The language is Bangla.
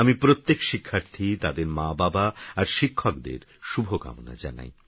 আমিপ্রত্যেকশিক্ষার্থী তাদেরমাবাবাআরশিক্ষকদেরশুভকামনাজানাই